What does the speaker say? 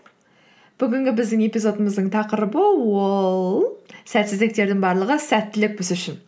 бүгінгі біздің эпизодымыздың тақырыбы ол сәтсіздіктердің барлығы сәттілік біз үшін